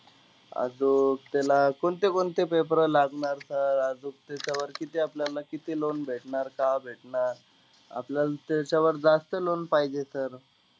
आजूक, त्याला कोणते कोणते paper लागणार sir? आजूक त्याच्यावर किती आपल्याला किती loan भेटणार, कव्हा भेटणार? आपल्याला त्याच्यावर जास्त loan पाहिजे sir.